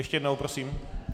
Ještě jednou prosím.